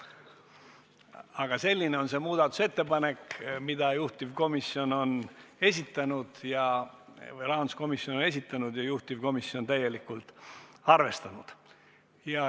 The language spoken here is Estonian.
Aga selline on see muudatusettepanek, mille rahanduskomisjon on esitanud ja mida juhtivkomisjon on täielikult arvestanud.